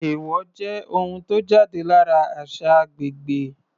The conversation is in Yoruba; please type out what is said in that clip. Èèwọ̀ jẹ́ ohun tó jáde lára àṣà agbègbè.